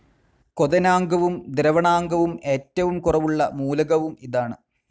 ക്വഥനാങ്കവും ദ്രവണാങ്കവും ഏറ്റവും കുറവുള്ള മൂലകവും ഇതാണ്.